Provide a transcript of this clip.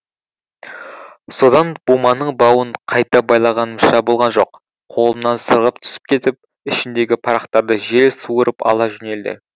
содан буманың бауын қайта байлағанымша болған жоқ қолымнан сырғып түсіп кетіп ішіндегі парақтарды жел суырып ала жөнелді